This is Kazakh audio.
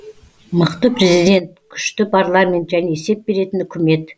мықты президент күшті парламент және есеп беретін үкімет